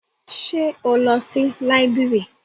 Ṣé o lọ sí library?